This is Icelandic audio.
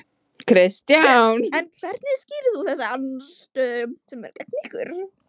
Kristján: En hvernig skýrir þú þessa andstöðu sem er gegn ykkur?